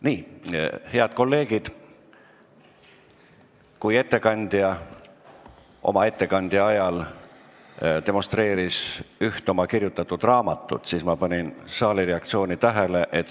Nii, head kolleegid, kui ettekandja oma ettekande ajal demonstreeris üht oma kirjutatud raamatut, siis ma panin tähele saali reaktsiooni.